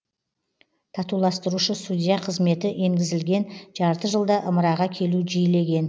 татуластырушы судья қызметі енгізілген жарты жылда ымыраға келу жиілеген